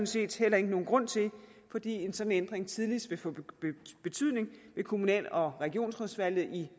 set heller ikke nogen grund til fordi en sådan ændring tidligst vil få betydning ved kommunal og regionsrådsvalget i